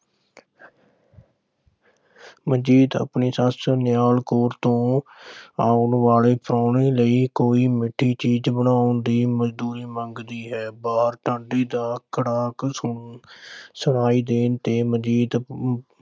ਮਨਜੀਤ ਆਪਣੀ ਸੱਸ ਨਿਹਾਲ ਕੌਰ ਤੋਂ ਆਉਣ ਵਾਲੇ ਪ੍ਰਾਹੁਣੇ ਲਈ ਕੋਈ ਮਿੱਠੀ ਚੀਜ਼ ਬਣਾਉਣ ਦੀ ਮਨਜ਼ੂਰੀ ਮੰਗਦੀ ਹੈ। ਬਾਹਰ ਦਾ ਖੜਾਕ ਸੁਣਾਈ ਦੇਣ ਤੇ ਮਨਜੀਤ